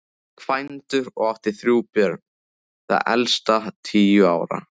Kvæntur og átti þrjú börn, það elsta tíu ára.